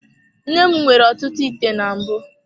Nne m nwere ọtụtụ ite na mbụ.